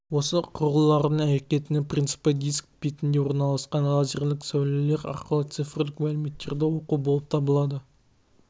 осы құрылғының әрекетінің принципі диск бетінде орналасқан лазерлік сәулелер арқылы цифрлік мәліметтерді оқу болып табылады